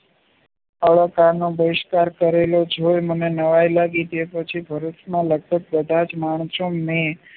અલંકાર ના બહિષ્કાર જે મને નવાય લાગી પછી ભારતના લગભગ બધાજ માણસો ને